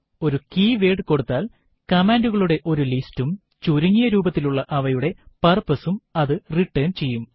ഒരു കീവേർഡ് കൊടുത്താൽ കമാൻഡുകളുടെ ഒരു ലിസ്റ്റ് ഉം ചുരുങ്ങിയ രൂപത്തിലുള്ള അവയുടെ purpose ഉം അത് റിട്ടർൻ ചെയ്യും